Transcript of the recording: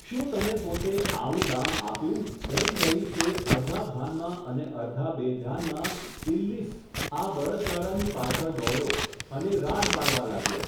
શું તમે પોતે આવું દાન આપ્યું ? એમ કહી તે અર્ધા ભાનમાં અને અર્ધા બેધ્યાનમાં, ઈલ્લીસ, આ બળદગાડાની પાછળ દોડ્યો અને રાડ પાડવા લાગ્યો.